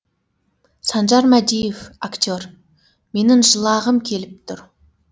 санжар мәдиев актер менің жылағым келіп тұр